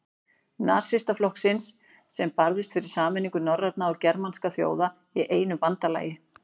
Nasistaflokksins, sem barðist fyrir sameiningu norrænna eða germanskra þjóða í einu bandalagi.